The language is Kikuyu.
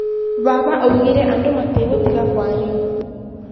Baba augire andũ matĩgũtiga kwaria.